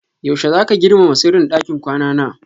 Yaushe zaka girmama sirrin ɗakin kwana na?